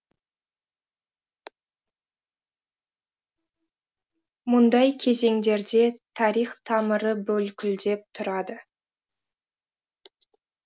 мұндай кезеңдерде тарих тамыры бүлкілдеп тұрады